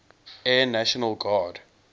air national guard